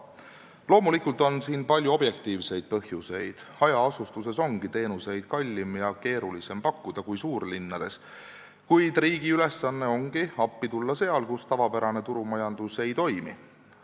Loomulikult on siin palju objektiivseid põhjuseid – hajaasustuse puhul ongi teenuseid kallim ja keerulisem pakkuda kui suurlinnades –, kuid riigi ülesanne ongi appi tulla seal, kus tavapärane turumajandus ei toimi.